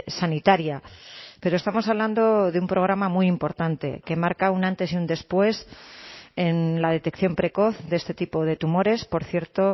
sanitaria pero estamos hablando de un programa muy importante que marca un antes y un después en la detección precoz de este tipo de tumores por cierto